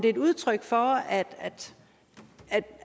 et udtryk for